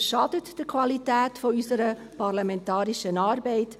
Dies schadet der Qualität unserer parlamentarischen Arbeit.